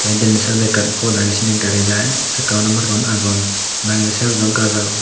tay denedi sydot ekkan pod agey sinni gari jai sakkaun margaun agon bangedi sydot o gaj agon.